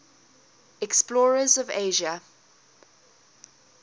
explorers of asia